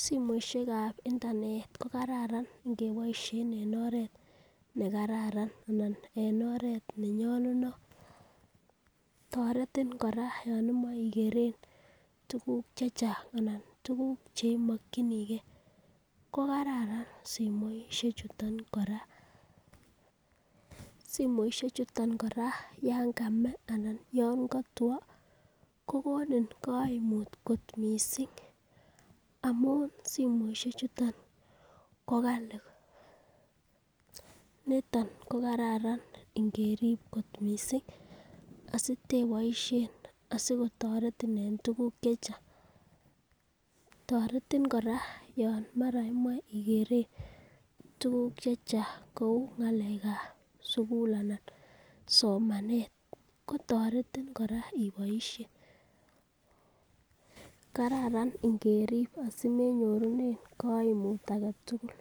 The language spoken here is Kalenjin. Simoishek ab internet ko kararan ingeboishen en oret ne kararan anan en oret nenyolunot. Toretin kora yon imoche igeren tuguk che chang anan tuguk che imokinige. KO kararan simoishechuton kora. Simoishechuton kora yan kame anan yon kotwo kogonin kaimut kot mising amun simoishek chuton ko kali niton ko kararan ingerib kot mising asiteiboishen, asikotoretin en tuguk che chang. Toretin kora yon mara imoche igeren tuguk che chang kou ng'alekab sugul anan somanet. Kotoretin kora iboishen kararan ingerib asimenyorunen kaimut age tugul.